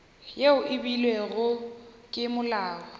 yeo e beilwego ke molao